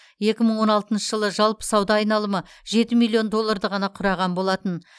екі мың он алтыншы жылы жалпы сауда айналымы жеті миллион долларды ғана құраған болатын